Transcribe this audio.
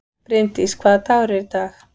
Brimdís, hvaða dagur er í dag?